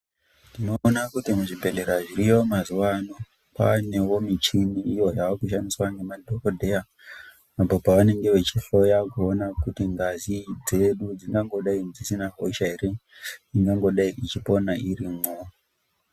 Tinoona kuti muzvibhedhlera zviriyo mazuwaano kwaaneo michini iyo yaakushandisqa nemadhokodheya apo pavanenge vechihloya kuona kuti ngazi dzedu dzinangodei dzisina hosha ere inangodei ichipona irimwo.